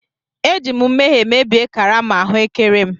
Eji m nmehie mebie karama ahụekere m.